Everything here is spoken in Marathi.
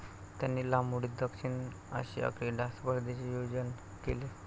त्यांनी लांब उडीत दक्षिण आशिया क्रीडा स्पर्धेचे आयोजन केले.